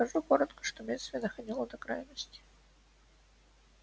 скажу коротко что бедствие доходило до крайности